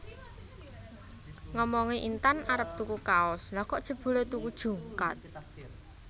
Ngomonge Intan arep tuku kaos lha kok jebule tuku jungkat